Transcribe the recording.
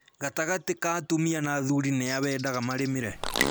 Gatagatĩ ka atumia na athuri nĩ a wendaga marĩmĩre?